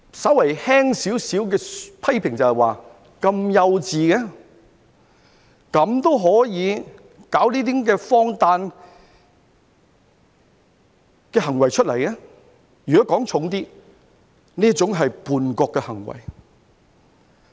稍為輕微地批評，就是幼稚，可以做出如此荒誕的行為；如果說得重一點，這是叛國的行為。